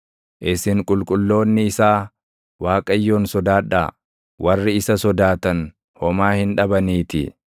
Isin qulqulloonni isaa Waaqayyoon sodaadhaa; warri isa sodaatan homaa hin dhabaniitii.